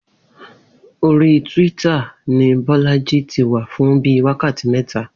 Orí twitter ni Bó̩lájí ti wà fún bíi wákàtí mé̩ta